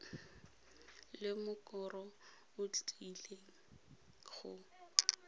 le mokoro o tlileng go